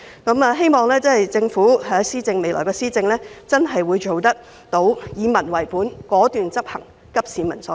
我希望政府未來的施政能夠真正做到以民為本、果斷執行和急市民所急。